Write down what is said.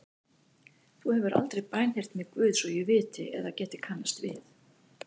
Þú hefur aldrei bænheyrt mig Guð svo ég viti eða geti kannast við.